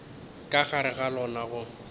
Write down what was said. ka gare ga lona go